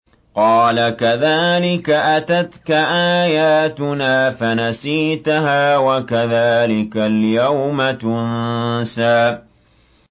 قَالَ كَذَٰلِكَ أَتَتْكَ آيَاتُنَا فَنَسِيتَهَا ۖ وَكَذَٰلِكَ الْيَوْمَ تُنسَىٰ